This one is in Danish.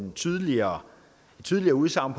tydeligere tydeligere udsagn